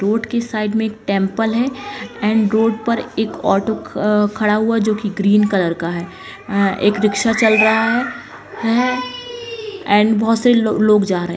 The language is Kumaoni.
रोड कि साइड में एक टेम्पल है एण्ड रोड पर एक ऑटो अ-खड़ा हुआ है जो कि ग्रीन कलर का है अ-एक रिक्शा चल रहा है एण्ड बहोत से ल-लोग जा रहे हैं।